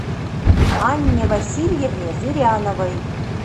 анне васильевне зыряновой